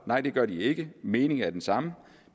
nej det gør de ikke meningen er den samme